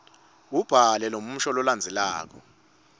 ubhale lomusho lolandzelako